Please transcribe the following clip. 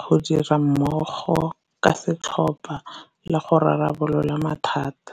go dira mmogo ka setlhopa, le go rarabolola mathata.